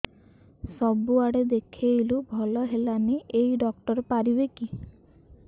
ସବୁଆଡେ ଦେଖେଇଲୁ ଭଲ ହେଲାନି ଏଇ ଡ଼ାକ୍ତର ପାରିବେ କି